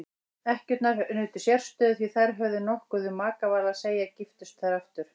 Ekkjur nutu sérstöðu því þær höfðu nokkuð um makaval að segja giftust þær aftur.